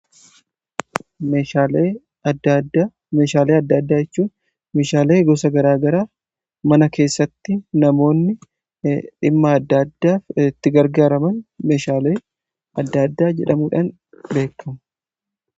Meeshaalee adda addaa, meeshaalee adda addaa jechuun meeshaalee gosa garaa garaa mana keessatti namoonni dhimma adda addaaf itti gargaaraman meeshaalee adda addaa jedhamuudhaan beekamu.